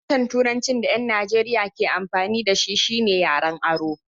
Harshen turancin da ƴan Najeriya ke amfani da shi shine yaren aro.